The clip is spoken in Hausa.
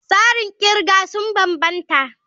Tsarin kirga sun bambanta.